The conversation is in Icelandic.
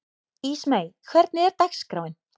Ísmey, hvernig er dagskráin?